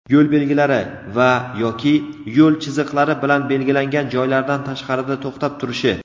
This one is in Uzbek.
yo‘l belgilari va (yoki) yo‘l chiziqlari bilan belgilangan joylardan tashqarida to‘xtab turishi.